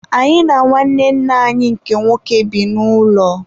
Anyị na nwanne nna anyi nke nwoke bi n'ụlọ.